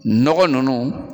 Nɔgɔ nunnu